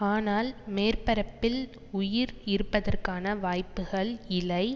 ஆனால் மேற்பரப்பில் உயிர் இருப்பதற்கான வாய்ப்புக்கள் இலை